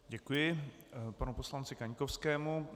Děkuji panu poslanci Kaňkovskému.